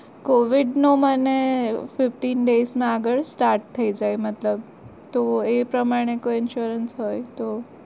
Covid નો મને fiftyne days ના આગળ start થઇ જાય મતલબ તો એ પ્રમાણે કોઈ insurance હોય તો